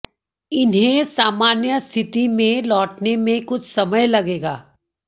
इन्हें सामान्य स्थिति में लौटने में कुछ समय लगेगा